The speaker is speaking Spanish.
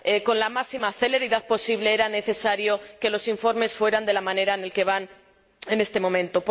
con la máxima celeridad posible era necesario que los informes fueran de la manera como van en este momento.